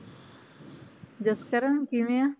ਜਸਕਰਨ ਕਿਵੇਂ ਆਂ?